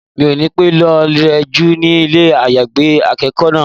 Mi ò ní pẹ́ lọ rẹ jú ní ilé àyágbé akẹ́kọ̀ọ́ náà.